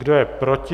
Kdo je proti?